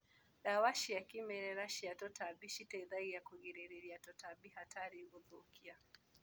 Ndawa cia kĩmerera cia tutambi citeithagia kũrigĩrĩria tũtambi hatarĩ ũthukia.